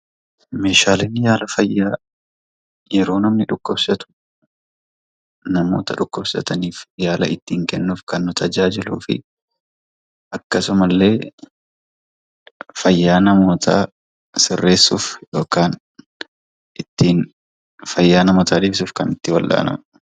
Meeshaaleen yaala fayyaa yeroo namni dhukkubsatu ittin yaaluuf kan nu gargaarudha. Akkasumallee fayyaa namootaa sirreessuuf kan nama tajaajiludha.